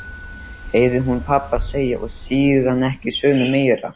heyrði hún pabba segja og síðan ekki söguna meir.